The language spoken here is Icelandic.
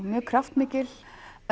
mjög kraftmikil